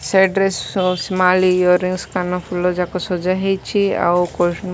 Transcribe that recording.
side ରେ ସ small earrings କାନଫୁଲ ଯାଙ୍କ ସଜା ହେଇଚି ଆଉ ପର୍ଫିୟୁମ୍ --